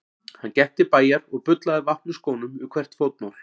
Hann gekk til bæjar og bullaði vatn úr skónum við hvert fótmál.